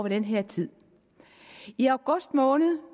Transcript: den her tid i august måned